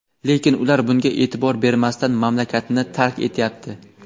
Lekin ular bunga e’tibor bermasdan mamlakatni tark etyapti.